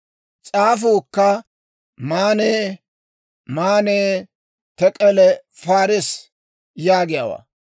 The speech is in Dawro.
«S'aafuukka, ‹Maanne, Maanne, Tek'el, Paarees› yaagiyaawaa.